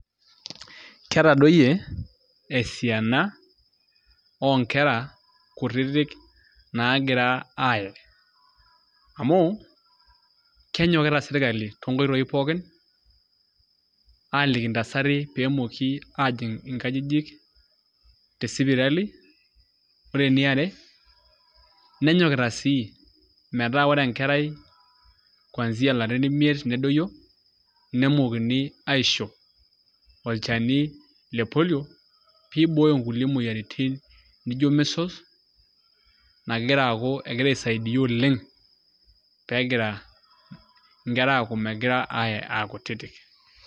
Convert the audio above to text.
Ketadoyie esiana oonkera kutitik naagira aaye amu kenyokita sirkali toonkoitoi pookin aaliki ntasati peejing' nkajijik tesipitali ore eniare nenyokita sii metaa ore enkerai kwanzia ilarin imiet nedoyio nemookini aisho olchani le Polio pee ibooyo nkulie moyiaritin nijio Measles nagira aaku egira aisaidia oleng' pee egira nkera aaku megira aaye aa kutitik.